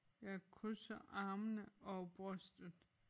Jeg krydser armene over brystet